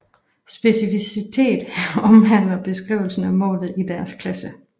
Specificitet omhandler beskrivelsen af målet i deres klasse